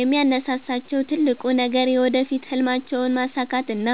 የሚያነሳሳቸው ትልቁ ነገር የወደፊት ሕልማቸውን ማሳካትና